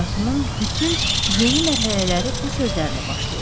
Həyatımın bütün yeni mərhələləri bu sözlərlə başlayır.